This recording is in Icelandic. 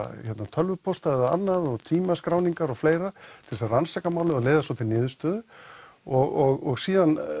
tölvupósta og tímaskráningar og fleira til að rannsaka málið og leiða það svo til niðurstöðu og síðan